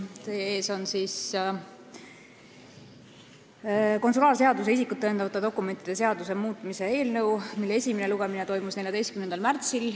Teie ees on konsulaarseaduse ja isikut tõendavate dokumentide seaduse muutmise seaduse eelnõu, mille esimene lugemine toimus 14. märtsil.